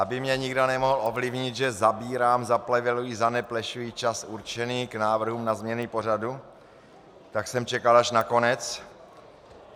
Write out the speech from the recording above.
Aby mě nikdo nemohl obvinit, že zabírám, zapleveluji, zaneplešuji čas určený k návrhům na změny pořadu, tak jsem čekal až na konec.